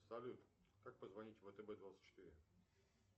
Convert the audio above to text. салют как позвонить в втб двадцать четыре